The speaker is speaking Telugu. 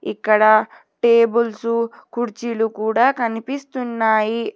ఇక్కడ టేబుల్సు కుర్చీలు కూడా కనిపిస్తున్నాయి.